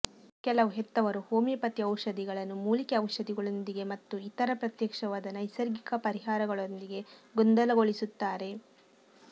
ಕೆಲವು ಹೆತ್ತವರು ಹೋಮಿಯೋಪತಿ ಔಷಧಿಗಳನ್ನು ಮೂಲಿಕೆ ಔಷಧಿಗಳೊಂದಿಗೆ ಮತ್ತು ಇತರ ಪ್ರತ್ಯಕ್ಷವಾದ ನೈಸರ್ಗಿಕ ಪರಿಹಾರಗಳೊಂದಿಗೆ ಗೊಂದಲಗೊಳಿಸುತ್ತಾರೆ